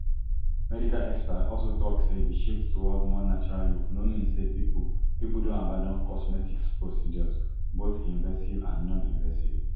medical experts also tok say di shift towards more natural look no mean say pipo pipo don abandon cosmetic procedures both invasive and noninvasive